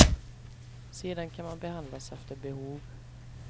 Sedan kan man behandlas efter behov.